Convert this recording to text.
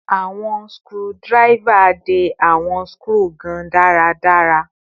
Awọn screwdriver de awọn skru gan daradara